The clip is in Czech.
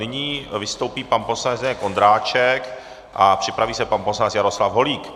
Nyní vystoupí pan poslanec Zdeněk Ondráček a připraví se pan poslanec Jaroslav Holík.